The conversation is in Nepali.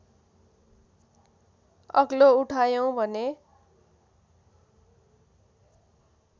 अग्लो उठायौँ भने